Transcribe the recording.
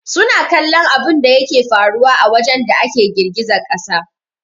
Suna kallon abunda yake faruwa a wajen da ake girgizar kasa